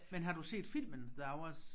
Men har du set filmen The Hours